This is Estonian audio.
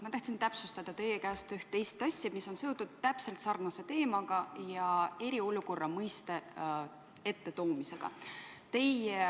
Ma tahtsin täpsustada teie käest ühte teist asja, mis on seotud täpselt sarnase teemaga ja eriolukorra mõiste esiletoomisega.